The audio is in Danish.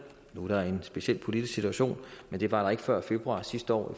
hvor der er en speciel politisk situation men det var der ikke før februar sidste år